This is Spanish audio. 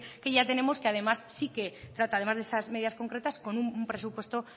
que ya tenemos que además sí que trata además de esas medidas concretas con un presupuesto